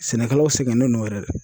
Sɛnɛkɛlaw sɛgɛnnen don yɛrɛ de.